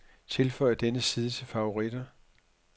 Tilføj denne side til favoritter.